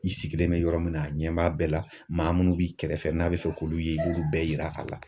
I sigilen bɛ yɔrɔ min na, a ɲɛ b'a bɛɛ la , maa minnu b'i kɛrɛfɛ n'a bɛ fɛ k'olu ye i b'olu bɛɛ yira a la.